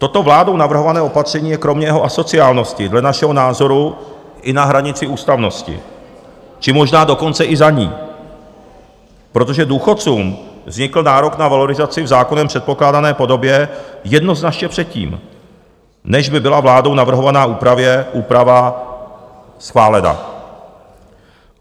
Toto vládou navrhované opatření je kromě jeho asociálnosti dle našeho názoru i na hranici ústavnosti, či možná dokonce i za ní, protože důchodcům vznikl nárok na valorizaci v zákonem předpokládané podobě jednoznačně předtím, než by byla vládou navrhovaná úprava schválena.